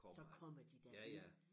Så kommer de da ind